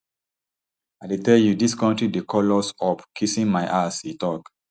i dey tell you dis kontri dey call us up kissing my ass e tok